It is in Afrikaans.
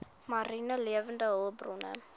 mariene lewende hulpbronne